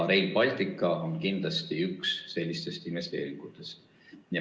Rail Baltic on kindlasti üks sellistest investeeringutest.